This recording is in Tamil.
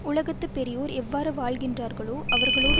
உலகத்து பெரியோர் எவ்வாறு வாழ்கின்றார்களோ அவரோடு